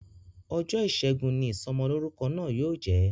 Ọjọ́ ìṣẹ́gun ni Ìsọmọlọ́rúkọ náà yóò jẹ